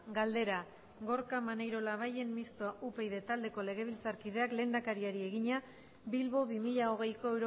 galdera gorka maneiro labayen mistoa upyd taldeko legebiltzarkideak lehendakariari egina bilbo bi mila hogeiko